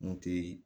N kun te